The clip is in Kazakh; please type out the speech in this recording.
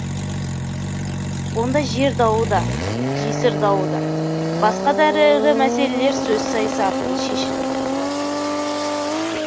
онда жер дауы да жесір дауы да басқа да ірі ірі мәселелер сөз сайысы арқылы шешіліп отырған